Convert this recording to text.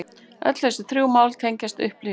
Öll þessi þrjú mál teljast upplýst